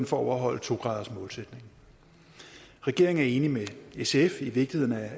for at overholde to graders målsætningen regeringen er enig med sf i vigtigheden af